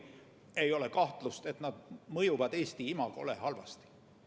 Aga ei ole kahtlust, et nad mõjuvad Eesti imagole halvasti.